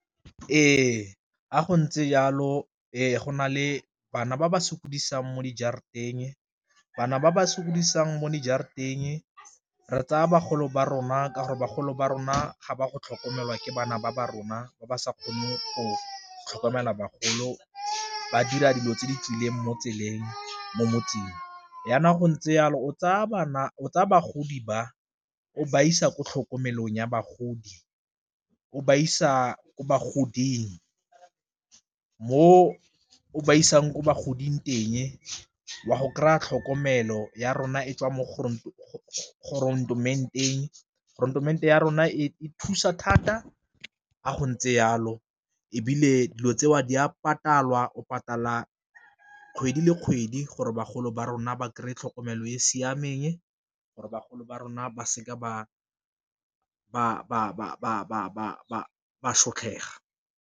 Ee, ga go ntse jalo fa go na le bana ba ba sokodisang mo dijarateng, bana ba ba sokodisang mo dijarateng re tsaya bagolo ba rona ka gore bagolo ba rona ga ba go tlhokomelwa ke bana ba ba rona ba ba sa kgone go tlhokomela bagolo ba dira dilo tse di tswileng mo tseleng mo motseng. Jaanong fa go ntse jalo o tsaya bagodi ba ba isa ko tlhokomelong ya bagodi o ba isa ko ba godileng, mo o ba isang ko bagoding teng wa go kry-a tlhokomelo ya rona e tswa mo ya rona e thusa thata ga go ntse jalo, ebile dilo tseo ga di a patelwa o patala kgwedi le kgwedi gore bagolo ba rona ba kry-e tlhokomelo e e siameng gore bagolo ba rona ba seka ba sotlhega.